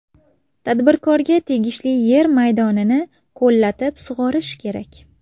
Tadbirkorga tegishli yer maydonini ko‘llatib sug‘orish kerak.